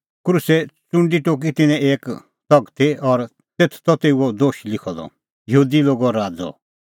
क्रूसे च़ुंडी टोकी तिन्नैं एक तगती और तेथ त तेऊओ दोश लिखअ द यहूदी लोगो राज़अ